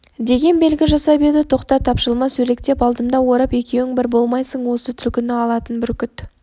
деген белгі жасап еді тоқта тапжылма сөлектеп алдымды орап екеуің бір болмайсың осы түлкіні алатын бүркіт